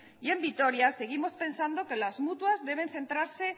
y en vitoria seguimos pensando que las mutuas deben centrarse